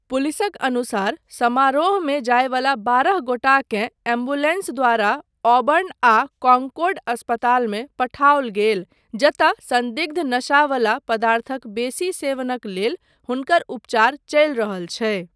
पुलिसक अनुसार, समारोहमे जायवला बारह गोटाकेँ एम्बुलेन्स द्वारा ऑबर्न आ कॉनकॉर्ड अस्पतालमे पठाओल गेल जतय सन्दिग्ध नशावला पदार्थक बेसी सेवनक लेल हुनकर उपचार चलि रहल छै।